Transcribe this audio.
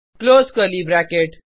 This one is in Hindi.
close curly bracket